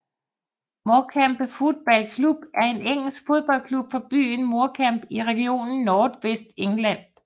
Morecambe Football Club er en engelsk fodboldklub fra byen Morecambe i regionen North West England